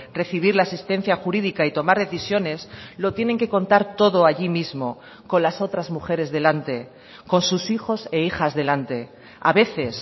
recibir la asistencia jurídica y tomar decisiones lo tienen que contar todo allí mismo con las otras mujeres delante con sus hijos e hijas delante a veces